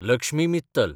Lakshmi Mittal